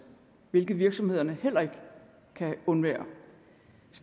hvilket virksomhederne heller ikke kan undvære